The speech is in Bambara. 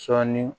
Sɔɔni